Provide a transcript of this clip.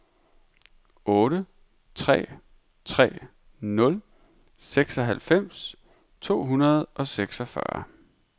otte tre tre nul seksoghalvfems to hundrede og seksogfyrre